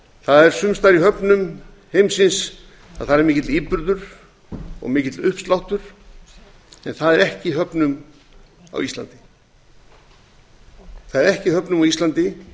það er sums staðar í höfnum heimsins mikill íburður og mikill uppsláttur en það er ekki í höfnum á íslandi